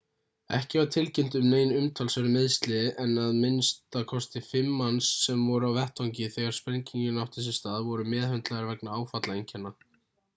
ekki var tilkynnt um nein umtalsverð meiðsli en að minnsta kosti fimm manns sem voru á vettvangi þegar sprengingin átti sér stað voru meðhöndlaðir vegna áfallaeinkenna